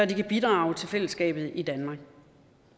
kan bidrage til fællesskabet i danmark